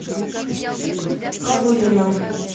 ковылина